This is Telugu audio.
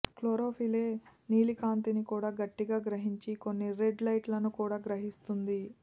క్లోరోఫిలె నీలి కాంతిని కూడా గట్టిగా గ్రహించి కొన్ని రెడ్ లైట్లను కూడా గ్రహిస్తుంది